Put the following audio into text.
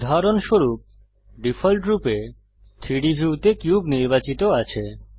উদাহরণস্বরূপ ডিফল্টরূপে 3ডি ভিউতে কিউব নির্বাচিত আছে